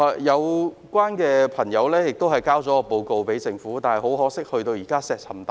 有關朋友已就這項遺蹟向政府提交報告，但很可惜，現在石沉大海。